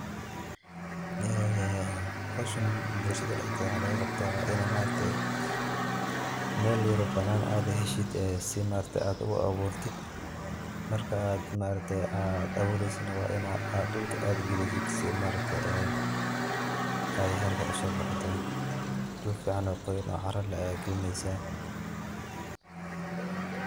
Ee howshaan blshadaa dheex deeda waxa looga qabtaa inaa maaragte mel yaaro banaan aad heshiid ee sii maaragte aad uu aburtiit. markaa aad maaragte aad abureysiid waa inaa aa dhuulka aad galisiid sii maaragte ee aay haraka uuso baxdoo. dhul ficaan oo qoyaan oo caraa leeh aya gaalineysa.